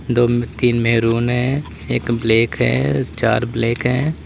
दो तीन मैरून हैं एक ब्लैक है चार ब्लैक हैं।